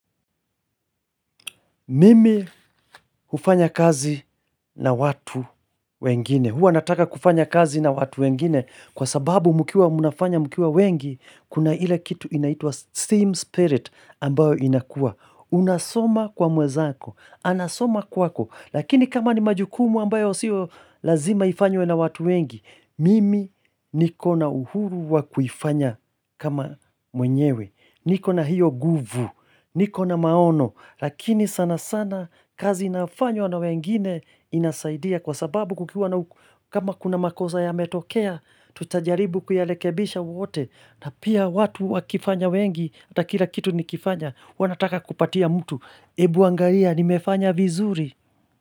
Mimi hufanya kazi na watu wengine, huwa nataka kufanya kazi na watu wengine, kwa sababu mkiwa mnafanya mkiwa wengi, kuna ile kitu inaitwa steam spirit ambayo inakuwa. Unasoma kwa mwezako, anasoma kwako, lakini kama ni majukumu ambayo sio lazima ifanywe na watu wengi, mimi nikona uhuru wa kufanya kama mwenyewe. Niko na hiyo nguvu, niko na maono, lakini sana sana kazi inafanywa na wengine inasaidia kwa sababu kukiuwa na kama kuna makosa yametokea, tutajaribu kuyarekebisha wote, na pia watu wakifanya wengi, hata kila kitu nikifanya, wanataka kupatia mtu, ebu angalia, nimefanya vizuri.